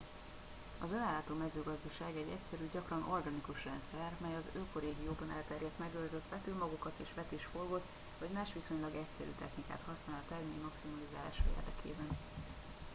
az önellátó mezőgazdaság egy egyszerű gyakran organikus rendszer mely az ökorégióban elterjedt megőrzött vetőmagokat és vetésforgót vagy más viszonylag egyszerű technikát használ a termény maximalizálása érdekében